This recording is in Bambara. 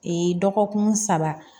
dɔgɔkun saba